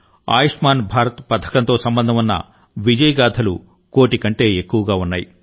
ఆయుష్మాన్ భారత్ పథకంతో సంబంధం ఉన్న విజయగాథలు కోటి కంటే ఎక్కువగా ఉన్నాయి